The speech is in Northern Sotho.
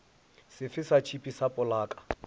sefe sa tšhipi sa polaka